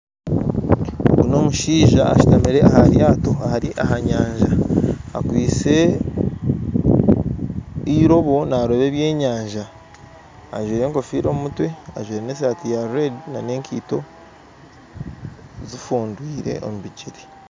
Ogu n'omushaija ashutamire aha ryato ari aha nyanja akwitse irobo naroba eby'enyanja ajwaire enkofiira omu mutwe ajwaire na esaati ya reedi n'enkaito zifundwire omu bigyere